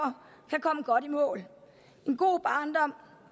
og i mål en god barndom